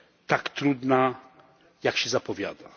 tak trudna, jak się zapowiada.